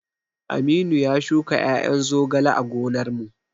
Aminu ya shuka ƴaƴan zogale a gonar mu